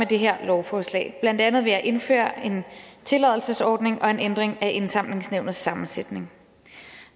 det her lovforslag blandt andet ved at indføre en tilladelsesordning og en ændring af indsamlingsnævnets sammensætning